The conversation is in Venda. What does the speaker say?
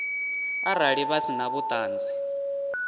arali vha si na vhuṱanzi